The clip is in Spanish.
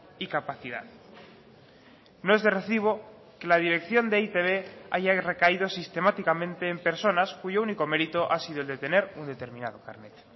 y capacidad no es de recibo que la dirección de e i te be haya recaído sistemáticamente en personas cuyo único mérito ha sido el de tener un determinado carnet